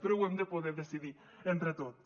però ho hem de poder decidir entre tots